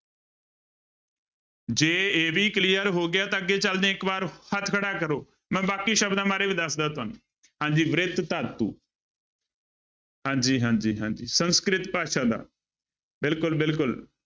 ਜੇ ਇਹ ਵੀ clear ਹੋ ਗਿਆ ਤਾਂ ਅੱਗੇ ਚੱਲਦੇ ਹਾਂਂ ਇੱਕ ਵਾਰ ਹੱਥ ਖੜਾ ਕਰੋ, ਮੈਂ ਬਾਕੀ ਸ਼ਬਦਾਂ ਬਾਰੇ ਵੀ ਦੱਸਦਾਂ ਤੁਹਾਨੂੰ, ਹਾਂਜੀ ਬ੍ਰਿਤ ਧਾਤੂ ਹਾਂਜੀ ਹਾਂਜੀ ਹਾਂਜੀ ਸੰਸ੍ਰਕਿਤ ਭਾਸ਼ਾ ਦਾ, ਬਿਲਕੁਲ ਬਿਲਕੁਲ।